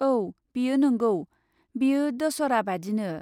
औ, बेयो नंगौ, बेयो दशहरा बादिनो।